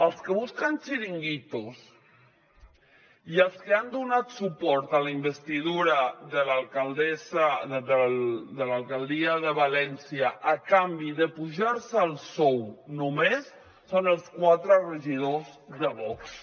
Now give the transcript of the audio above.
els que busquen xiringuitos i els que han donat suport a la investidura de l’alcaldia de valència a canvi d’apujar se el sou només són els quatre regidors de vox